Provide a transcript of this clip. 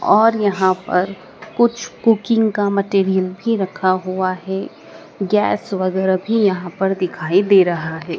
और यहां पर कुछ कुकिंग का मटेरियल भी रखा हुआ है गैस वगैरा भी यहां पर दिखाई दे रहा है।